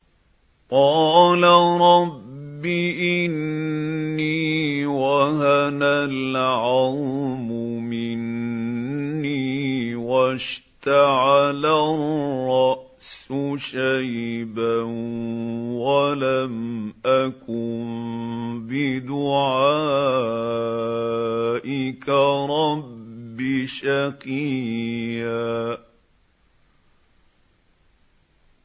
قَالَ رَبِّ إِنِّي وَهَنَ الْعَظْمُ مِنِّي وَاشْتَعَلَ الرَّأْسُ شَيْبًا وَلَمْ أَكُن بِدُعَائِكَ رَبِّ شَقِيًّا